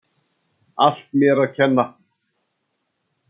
Allt mér að kenna.